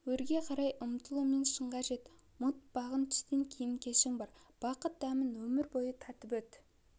өрге қарай ұмтылумен шыңға жет ұмытпағын түстен кейін кешің бар бақыт дәмін өмір бойы татып өт